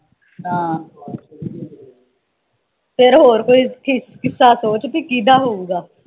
ਹਾਂ ਫਿਰ ਹੋਰ ਕੋਈ ਕਿੱਸਾ ਸੋਚ ਪੀ ਕੀਦਾ ਹੋਊਗਾ